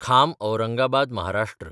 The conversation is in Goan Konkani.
खाम औरंगाबाद महाराष्ट्र